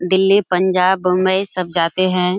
दिल्ली पंजाब बम्बई सब जाते है।